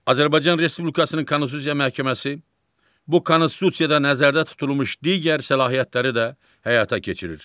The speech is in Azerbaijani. Azərbaycan Respublikasının Konstitusiya Məhkəməsi bu konstitusiyada nəzərdə tutulmuş digər səlahiyyətləri də həyata keçirir.